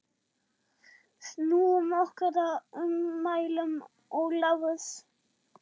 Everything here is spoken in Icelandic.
Snúum okkur að ummælum Ólafs.